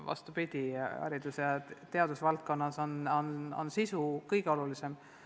Vastupidi, haridus- ja teadusvaldkonnas on sisu kõige olulisem.